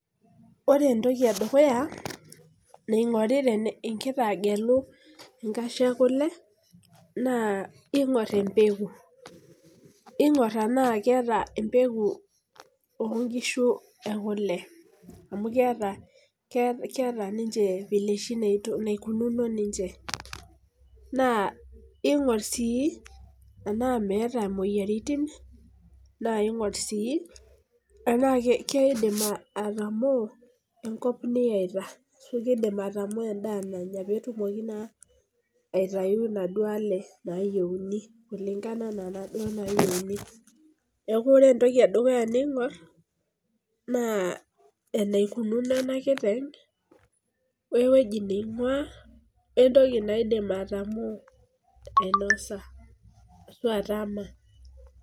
Ore entoki edukuya naingori ingira agelu enkashe ekule naa ingor empeku , ingor tenaa keeta empeku oonkishu ekule amukeeta ninnche vile oshi naikununo ninche naa ingor sii enaa meeta moyiaritin naa ingor sii tenaa keidim atamoo enkop niyaita , nidim atamoo endaa nanya petumoki naa aitayu inaduoo nayieuni, niaku ore entoki edukuya ningor naa enaikununo enakiteng wewueji naingwaa, wentoki naidim atamoo ainosa ashuaa atama.